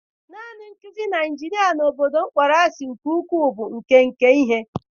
Naanị nkuzi na injinia obodo m kpọrọ asị nke ukwuu bụ ike nke ihe.